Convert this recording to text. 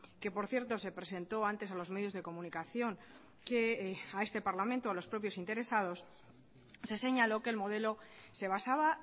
que por cierto se presentó antes a los medios de comunicación que a este parlamento a los propios interesados se señaló que el modelo se basaba